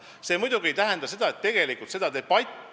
See muidugi ei tähenda seda, et teatud debatte ei võiks pidada.